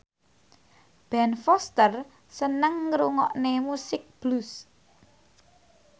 Ben Foster seneng ngrungokne musik blues